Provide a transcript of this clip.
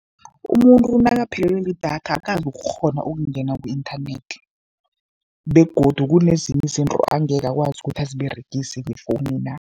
Umuntu nakaphelelwe lidatha akazokukghona ukungena ku-inthanethi begodu kunezinye izinto angeke akwazi ukuthi aziberegise ngefowunina.